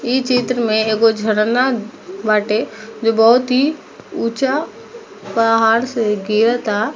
ई चित्र में एगो झरना बाटे जो बहुत ही उचा पहाड़ से गिरत आ।